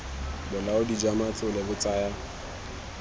bolaodi jwa matlole bo tsaya